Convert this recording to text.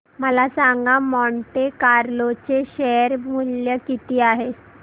मला सांगा Monte Carlo चे शेअर मूल्य किती आहे